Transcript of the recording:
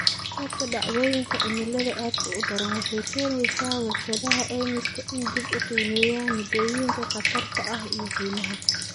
Korodhka dhacdooyinka cimilada aadka u daran waxay keenaysaa warshadaha caymisku inay dib u qiimeeyaan moodooyinka khatarta ah iyo qiimaha.